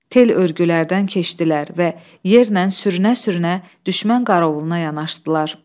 Tel örgülərdən keçdilər və yerlə sürünə-sürünə düşmən qara yanaşdılar.